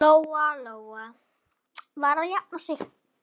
Lóa-Lóa var að jafna sig.